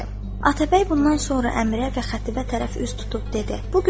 Atəbəy bundan sonra Əmirə və Xətibə tərəf üz tutub dedi: